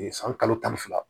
san kalo tan ni fila